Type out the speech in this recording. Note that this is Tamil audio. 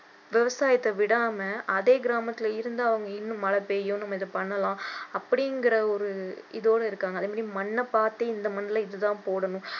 விவசாயத்தை விடாம அதே கிராமத்துல இருந்து அவங்க இன்னும் மழை பெய்யும் நம்ம இதை பண்ணலாம் அப்படிங்கிற ஒரு இதோட இருக்காங்க அதே மாதிரி மண்ண பார்த்து இந்த மண்ணுல இது தான் போடணும்